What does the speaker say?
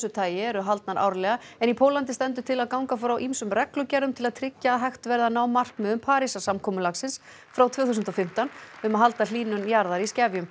tagi eru haldnar árlega en í Póllandi stendur til að ganga frá ýmsum reglugerðum til að tryggja að hægt verði að ná markmiðum Parísarsamkomulagsins frá tvö þúsund og fimmtán um að halda hlýnun jarðar í skefjum